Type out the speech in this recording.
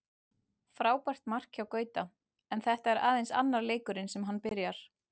Frábært mark hjá Gauta, en þetta er aðeins annar leikurinn sem hann byrjar.